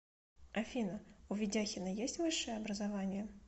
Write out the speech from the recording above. афина у ведяхина есть высшее образование